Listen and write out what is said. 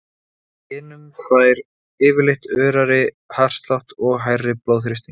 Í hinum fær fólk yfirleitt örari hjartslátt og hærri blóðþrýsting.